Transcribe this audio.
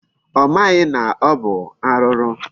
Ọ maghị na ọ bụ arụrụ.